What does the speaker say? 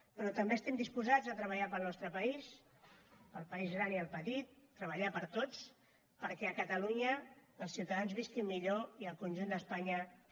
però també estem disposats a treballar pel nostre país pel país gran i el petit treballar per tots perquè a catalunya els ciutadans visquin millor i el conjunt d’espanya també